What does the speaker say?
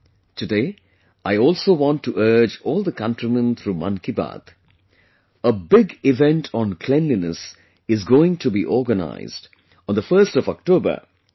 Today I also want to urge all the countrymen through 'Mann Ki Baat' a big event on cleanliness is going to be organized on the 1st of October i